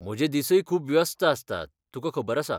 म्हजे दिसय खूब व्यस्त आसतात, तुकां खबर आसा.